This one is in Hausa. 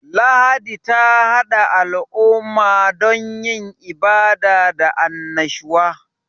Lahadi ta hada al'umma don yin ibada da annashuwa.